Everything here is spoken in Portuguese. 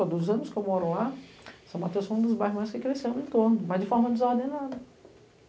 Há dois anos que eu moro lá, São Mateus foi um dos bairros mais que cresceu no entorno, mas de forma desordenada.